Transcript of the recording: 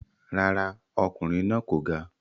Rárá, ọkùnrin náà kò ga.